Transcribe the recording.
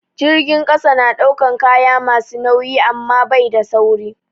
Jirgin ƙasa na ɗaukan kaya masu nauyi amma bai da sauri.